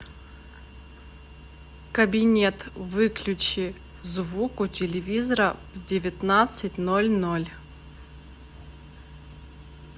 кабинет выключи звук у телевизора в девятнадцать ноль ноль